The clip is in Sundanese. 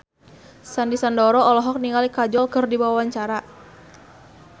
Sandy Sandoro olohok ningali Kajol keur diwawancara